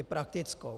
I praktickou.